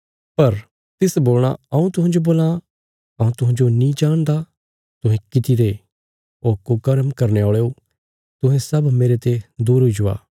पर तिस बोलणा हऊँ तुहांजो बोलां हऊँ तुहांजो नीं जाणदा तुहें किति रे ओ कुकर्म करने औल़यो तुहें सब मेरते दूर हुई जावा